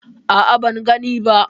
A'a, ban gani ba.